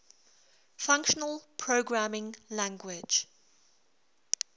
functional programming language